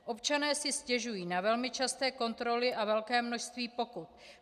Občané si stěžují na velmi časté kontroly a velké množství pokut.